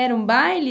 Era um baile?